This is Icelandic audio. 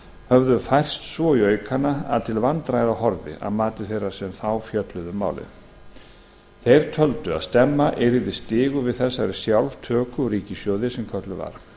höfðu færst svo í aukana að til vandræða horfði að mati þeirra sem þá fjölluðu um málið þeir töldu að stemma yrði stigu við þessari sjálftöku úr ríkissjóði sem kölluð var